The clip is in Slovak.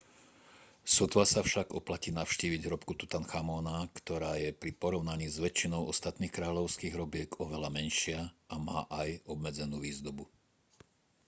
sotva sa však oplatí navštíviť hrobku tutanchamóna ktorá je pri porovnaní s väčšinou ostatných kráľovských hrobiek oveľa menšia a má aj obmedzenú výzdobu